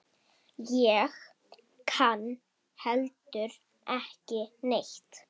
Ég kann heldur ekki neitt.